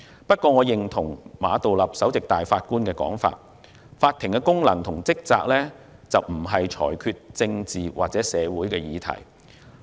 不過，我認同首席法官馬道立的說法，法庭的功能及職責不是裁決政治或社會議題。